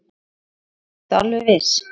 Linda: Ertu alveg viss?